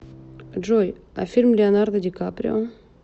джой а фильм леонардо ди каприо